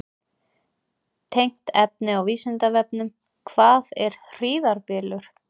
Tengt efni á Vísindavefnum: Hvað er hríðarbylur?